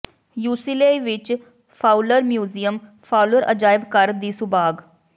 UCLA ਵਿਚ Fowler museum Fowler ਅਜਾਇਬ ਘਰ ਦੀ ਸੁਭਾਗ